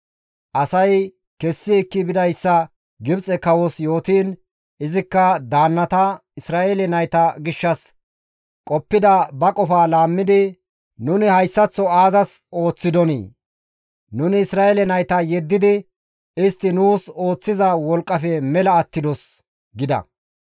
Asay kessi ekki bidayssa Gibxe kawos yootiin, izikka daannata Isra7eele nayta gishshas qoppida ba qofaa laammidi, «Nuni hayssaththo aazas ooththidonii? Nuni Isra7eele nayta yeddidi istti nuus ooththiza wolqqafe mela attidos» gida.